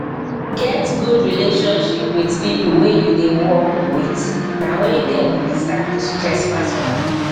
get good relationship with pipo wey you dey work with na only dem understand di stress pass oda pipo